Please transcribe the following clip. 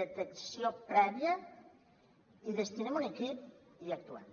detecció prèvia hi destinem un equip i actuem